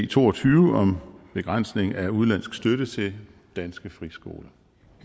to og tyve om begrænsning af udenlandsk støtte til danske friskoler